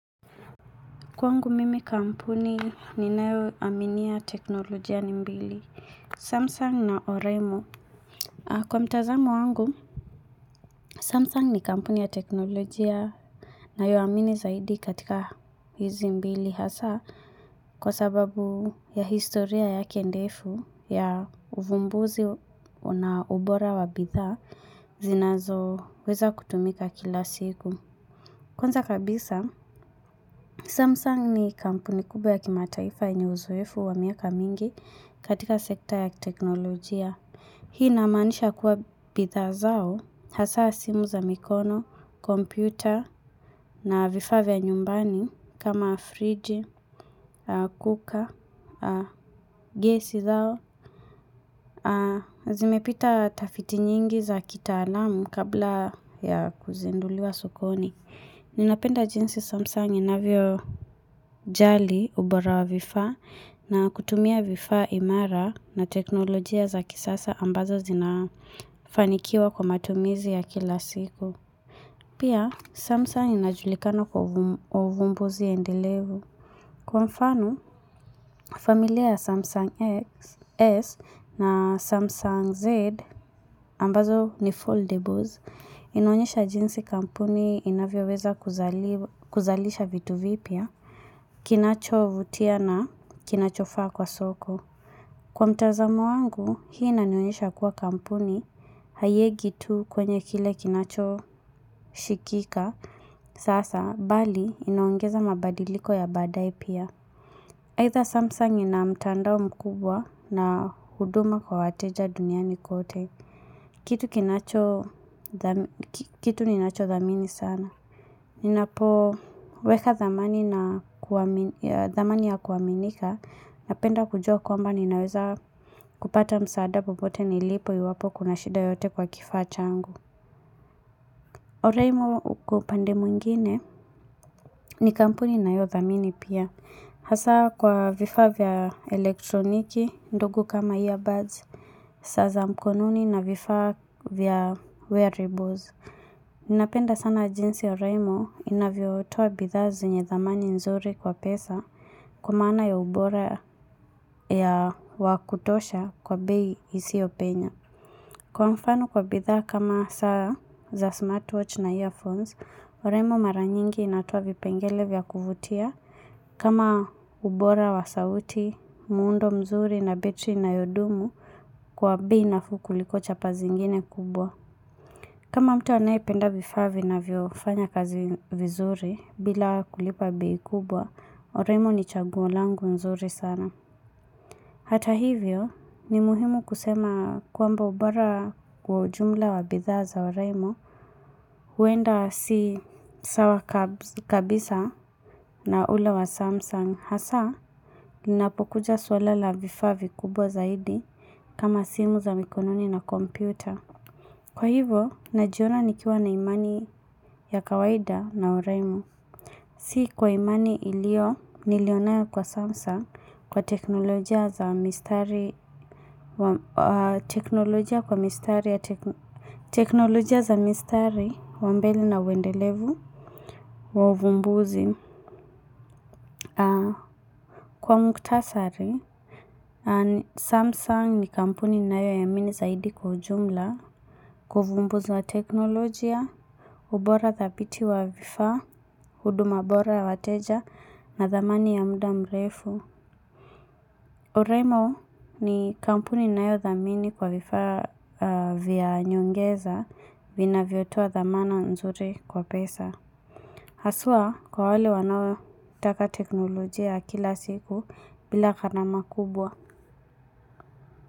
Kwangu mimi kampuni ninayoaminia teknolojia ni mbili. Samsung na Oraimo. Kwa mtazamo wangu, Samsung ni kampuni ya teknolojia nayoamini zaidi katika hizi mbili. Kwa sababu ya historia yake ndefu ya uvumbuzi na ubora wa bidhaa zinazoweza kutumika kila siku. Kwanza kabisa, Samsung ni kampuni kubwa ya kimataifa yenye uzoefu wa miaka mingi katika sekta ya teknolojia. Hii namaanisha kuwa bidhaa zao, hasa simu za mikono, kompyuta na vifaa vya nyumbani kama fridge, cooker, gesi zao. Zimepita tafiti nyingi za kitaalamu kabla ya kuzinduliwa sokoni. Ninapenda jinsi Samsung inavyojali ubora wa vifaa na kutumia vifaa imara na teknolojia za kisasa ambazo zinafanikiwa kwa matumizi ya kila siku. Kwanza kabisa, Samsung ni kampuni kubwa ya kimataifa yenye uzoefu wa miaka mingi katika sekta ya teknolojia. Kwa mfano, familia ya Samsung S na Samsung Z ambazo ni foldables inaonyesha jinsi kampuni inavyoweza kuzalisha vitu vipya, kinachovutia na kinachofaa kwa soko. Kwa mtazamo wangu, hii inanionyesha kuwa kampuni, haieki tu kwenye kile kinachoshikika, sasa bali inaongeza mabadiliko ya badaaye pia. Either Samsung ina mtandao mkubwa na huduma kwa wateja duniani kote, kitu kinacho kitu ninachodhamini sana. Ninapoweka thamani ya kuaminika, napenda kujua kwamba ninaweza kupata msaada popote nilipo iwapo kuna shida yoyote kwa kifaa changu. Oraimo kwa upande mwingine ni kampuni naniyothamini pia. Hasa kwa vifaa vya elektroniki ndogo kama earbuds, saa za mkononi na vifaa vya wearables. Ninapenda sana jinsi oraimo inavyotoa bidhaa zenye thamani nzuri kwa pesa kwa maana ya ubora ya wa kutosha kwa bei isiyopenya. Kwa mfano kwa bidhaa kama saa za smartwatch na earphones, oraimo mara nyingi inatoa vipengele vya kuvutia. Kama ubora wa sauti, muundo mzuri na betri inayodumu, kwa bei nafuu kuliko chapa zingine kubwa. Kama mtu anayependa vifaa vinavyofanya kazi vizuri, bila kulipa bei kubwa, oraimo ni chaguo langu mzuri sana. Hata hivyo ni muhimu kusema kwamba ubora kwa ujumla wa bidhaa za Oraimo huenda si sawa kabisa na ule wa Samsung hasa ninapokuja suala la vifaa vikubwa zaidi kama simu za mikononi na kompyuta. Kwa hivyo, najiona nikiwa na imani ya kawaida na Oraimo. Si kwa imani iliyo, niliyonayo kwa Samsung kwa teknolojia za mistari wa mbele na uendelevu wa uvumbuzi. Kwa mukhtasari, Samsung ni kampuni ninayoiamini zaidi kwa ujumla Kwa uvumbuzi wa teknolojia, ubora dhabiti wa vifaa, huduma bora ya wateja na thamani ya muda mrefu Oraimo ni kampuni ninayothamini kwa vifaa vya nyongeza vinavyotoa thamana nzuri kwa pesa Haswa kwa wale wanaotaka teknolojia ya kila siku bila gharama kubwa.